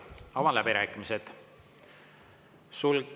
Avan läbirääkimised.